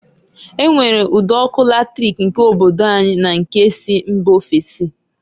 E nwere ụd'ọkụ latric nke obodo anyi na nke si mba ofesi.